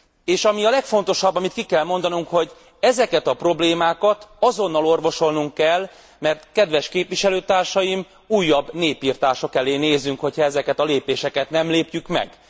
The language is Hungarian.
És ami a legfontosabb, amit ki kell mondanunk, hogy ezeket a problémákat azonnal orvosolnunk kell, mert kedves képviselőtársaim, újabb népirtások elé nézünk, hogyha ezeket a lépéseket nem lépjük meg.